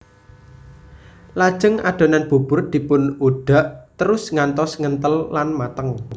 Lajeng adonan bubur dipun udhak terus ngantos ngenthel lan mateng